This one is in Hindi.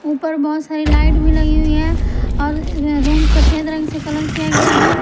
ऊपर बहोत सारी लाइट भी लगी हुई हैं और रूम सफेद रंग से कलर किया गया है।